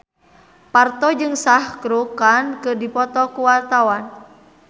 Parto jeung Shah Rukh Khan keur dipoto ku wartawan